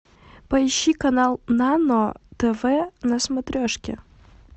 поищи канал нано тв на смотрешке